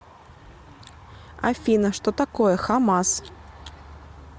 афина что такое хамас